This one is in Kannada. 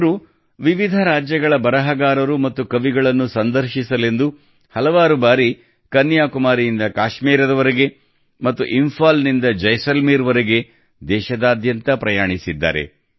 ಅವರು ವಿವಿಧ ರಾಜ್ಯಗಳ ಬರಹಗಾರರು ಮತ್ತು ಕವಿಗಳನ್ನು ಸಂದರ್ಶಿಸಲೆಂದು ಹಲವಾರು ಬಾರಿ ಕನ್ಯಾಕುಮಾರಿಯಿಂದ ಕಾಶ್ಮೀರದವರೆಗೆ ಮತ್ತು ಇಂಫಾಲ್ನಿಂದ ಜೈಸಲ್ಮೇರ್ವರೆಗೆ ದೇಶದಾದ್ಯಂತ ಪ್ರಯಾಣಿಸಿದ್ದಾರೆ